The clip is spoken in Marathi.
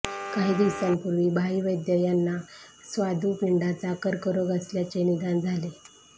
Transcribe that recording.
काही दिवसांपूर्वी भाई वैद्य यांना स्वादुपिंडाचा कर्करोग असल्याचे निदान झाले होते